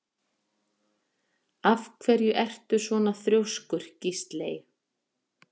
Af hverju ertu svona þrjóskur, Gísley?